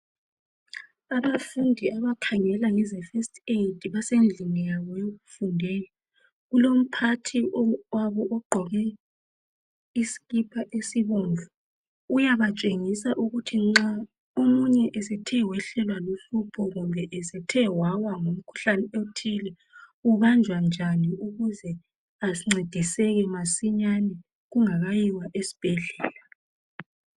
Abafundi abakhangela ngeze festi-eyidi, basendlini yabo yokufundela. Kulomphathi wabo ogqoke iskipa esibomvu, uyabatshengisa ukuthi nxa omunye esethe wehlelwa luhlupho kumbe esethe wawa ngomkhuhlane othile, ubanjwa njani ukuze asncediseke masinyane kungakayiwa esibhedlela.